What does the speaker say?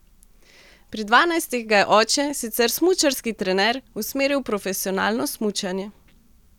Pri dvanajstih ga je oče, sicer smučarski trener, usmeril v profesionalno smučanje.